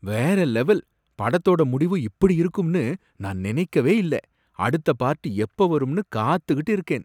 வேற லெவல்! படத்தோட முடிவு இப்படி இருக்கும்னு நான் நினைக்கவே இல்ல. அடுத்த பார்ட் எப்போ வரும்னு காத்துக்கிட்டு இருக்கேன்.